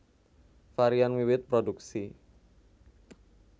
Varian wiwit produksi